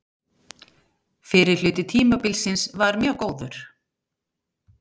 Fyrri hluti tímabilsins var mjög góður.